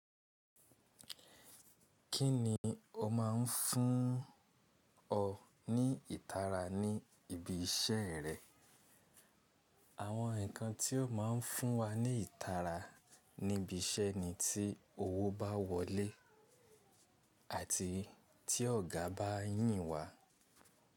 Kí ni o máa ń fún ọ ní ìtara ní ibi iṣẹ́ rẹ? Àwọn nǹkan tí ó máa ń fún wa ní ìtara níbi iṣẹ́ ni tí owó bá wọlé àti tí ọ̀gá bá yìn wa.